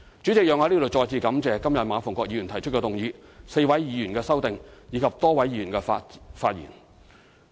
主席，讓我在此再次感謝今天馬逢國議員提出的議案、4位議員的修正案，以及多位議員的發言。